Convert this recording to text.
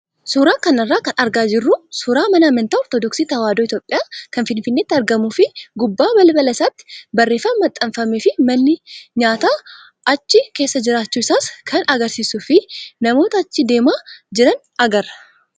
Suuraa kanarraa kan argaa jirru suuraa mana amantaa ortodoksii tawaahidoo Itoophiyaa kan Finfinneetti argamuu fi gubbaa balbala isaatti barreeffama maxxanfamee fi manni nyaataa achi keessa jiraachuu isaas kan agarsiisuu fi namoota achi deemaa jiran agarra.